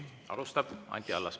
Alustab Anti Allas.